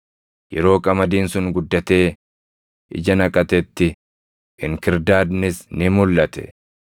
Yeroo qamadiin sun guddatee ija naqatetti inkirdaadnis ni mulʼate.